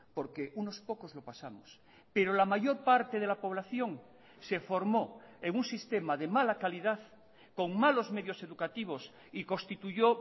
porque unos pocos lo pasamos pero la mayor parte de la población se formó en un sistema de mala calidad con malos medios educativos y constituyó